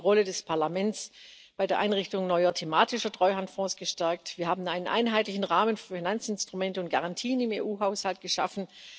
Wir haben die Rolle des Parlaments bei der Einrichtung neuer thematischerTreuhandfonds gestärkt, wir haben einen einheitlichen Rahmen für Finanzinstrumente und Garantien im EU Haushalt geschaffen.